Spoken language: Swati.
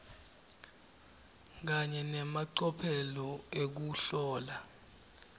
kanye nemacophelo ekuhlola